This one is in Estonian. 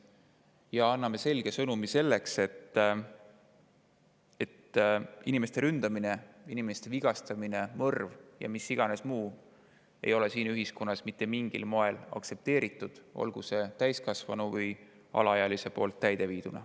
Samuti anname selge sõnumi, et inimeste ründamine, inimeste vigastamine, mõrv ja mis iganes muu ei ole siin ühiskonnas mitte mingil moel aktsepteeritud, olgu see täiskasvanu või alaealise poolt täide viidud.